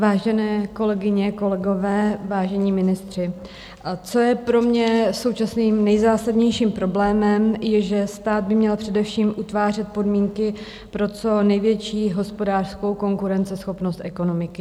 Vážené kolegyně, kolegové, vážení ministři, co je pro mě současným nejzásadnějším problémem, je, že stát by měl především utvářet podmínky pro co největší hospodářskou konkurenceschopnost ekonomiky.